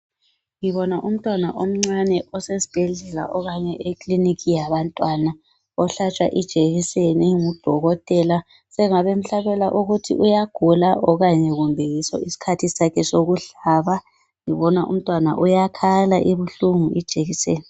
Ngibona umntwana omncane osesibhedlela okanye ekiliniki yabantwana ohlatshwa ijekiseni ngudokotela sengabe emhlabela ukuthi uyagula o okanye kumbe yiso isikhathi sokuhlaba ngibona umntwana uyakhala ibihlungu ijekiseni.